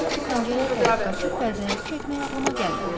Təəssüf ki, pəncərəyə tərəf qaçıb pərdələri çəkmək ağlıma gəlmədi.